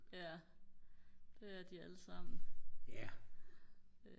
ja det er de allesammen